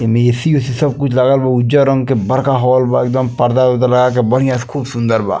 एमे ऐ.सी. उ सी सब कुछ लागल बा उज्जर रंग के बड़का हॉल बा एकदम पर्दा-उर्दा लगाके बढ़िया से खूब सुन्दर बा।